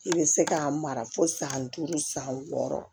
I bɛ se k'a mara fo san duuru san wɔɔrɔ